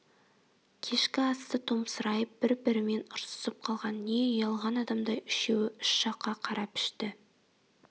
кешкі асты томсырайып бір-бірімен ұрсысып қалған не ұялған адамдай үшеуі үш жаққа қарап ішті